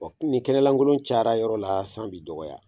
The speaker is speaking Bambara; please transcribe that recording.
kini kɛnɛlankolon cayara yɔrɔ la san bi jɔ.